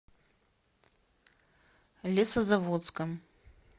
лесозаводском